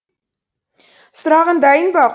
сұрағың дайын ба